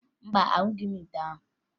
Mba, ahụghị m ite ahụ